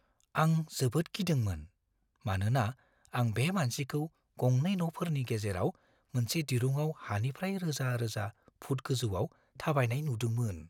आं जोबोद गिदोंमोन, मानोना आं बे मानसिखौ गंनै न'फोरनि गेजेराव मोनसे दिरुंआव हानिफ्राय रोजा-रोजा फुट गोजौआव थाबायनाय नुदोंमोन।